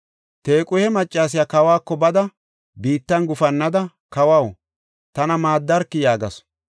Tequhe maccasiya kawako bada biittan gufannada, “Kawaw, tana maaddarki!” yaagasu.